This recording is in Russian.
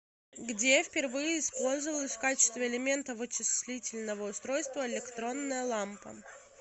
где впервые использовалась в качестве элемента вычислительного устройства электронная лампа